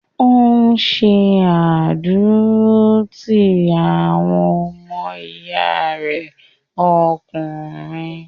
Ò ń ṣe àdúrótì àwọn ọmọ ìyá rẹ ọkùnrin.